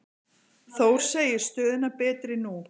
Þór segir stöðuna betri nú.